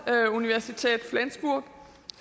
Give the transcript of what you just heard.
universität flensburg